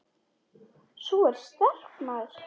Sú er sterk, maður!